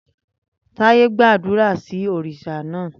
Taiye gbàdúrà sí òrìṣà náà.